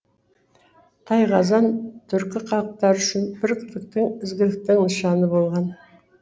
тайқазан түркі халықтары үшін бірліктің ізгіліктің нышаны болған